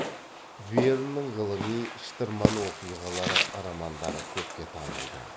верннің ғылыми шытырман оқиғалары романдары көпке танылды